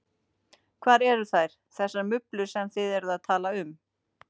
Hvar eru þær, þessar mublur sem þið eruð að tala um?